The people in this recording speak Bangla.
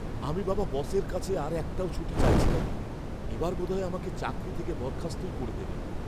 আমি বাবা বসের কাছে আর একটাও ছুটি চাইছি না। এবার বোধহয় আমাকে চাকরি থেকে বরখাস্তই করে দেবে।